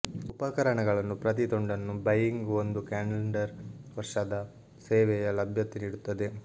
ಉಪಕರಣಗಳನ್ನು ಪ್ರತಿ ತುಂಡನ್ನು ಬೈಯಿಂಗ್ ಒಂದು ಕ್ಯಾಲೆಂಡರ್ ವರ್ಷದ ಸೇವೆಯ ಲಭ್ಯತೆ ನೀಡುತ್ತದೆ